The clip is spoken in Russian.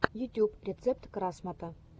ютуб рецепт красмото